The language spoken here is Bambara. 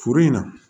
Foro in na